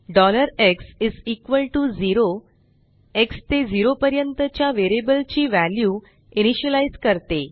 x0 x ते zero पर्यंत च्या वेरियबल ची वॅल्यू इनीशियलाइज करते